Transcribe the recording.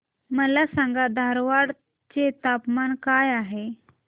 मला सांगा धारवाड चे तापमान काय आहे